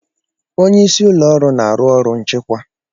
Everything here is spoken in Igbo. Onye isi ụlọ ọrụ na-arụ ọrụ nchịkwa.